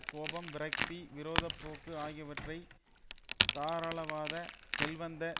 கோபம் விரக்தி விரோத போக்கு ஆகியவை தாராளவாத செல்வந்த